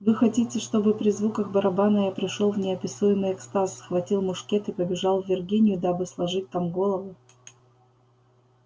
вы хотите чтобы при звуках барабана я пришёл в неописуемый экстаз схватил мушкет и побежал в виргинию дабы сложить там голову